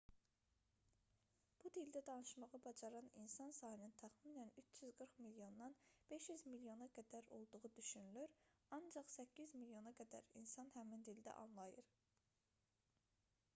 bu dildə danışmağı bacaran insan sayının təxminən 340 milyondan 500 milyona qədər olduğu düşünülür ancaq 800 milyona qədər insan həmin dildə anlayır